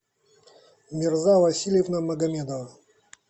мирза васильевна магомедова